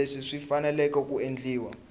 leswi swi fanele ku endliwa